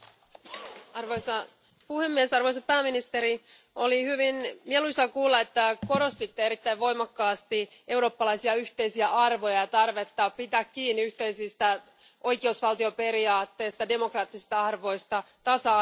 Arvoisa puhemies, arvoisa pääministeri, oli hyvin mieluisaa kuulla, että korostitte erittäin voimakkaasti eurooppalaisia yhteisiä arvoja, tarvetta pitää kiinni yhteisistä oikeusvaltioperiaatteista, demokraattista arvoista ja tasa arvosta.